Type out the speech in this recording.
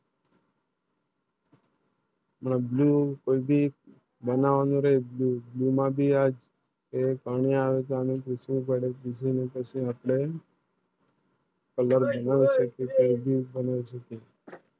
Blue બનાવની રીત માં ભી આજ એ પાણી અને સખુ પડે અને સખુ પડે છે Colour